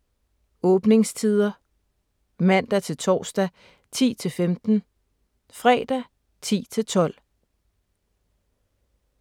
Åbningstider: Mandag-torsdag: 10-15 Fredag: 10-12